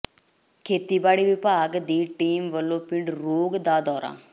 ਖੇਤੀਬਾੜੀ ਵਿਭਾਗ ਦੀ ਟੀਮ ਵੱਲੋਂ ਪਿੰਡ ਰੋਘ ਦਾ ਦੌਰਾ